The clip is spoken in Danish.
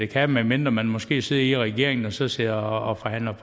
kan medmindre man måske sidder i regeringen og så sidder og forhandler